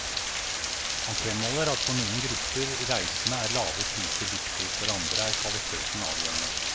Han fremholder at for noen grupper reisende er lave priser viktig, for andre er kvaliteten avgjørende.